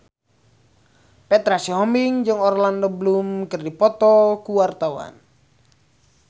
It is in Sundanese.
Petra Sihombing jeung Orlando Bloom keur dipoto ku wartawan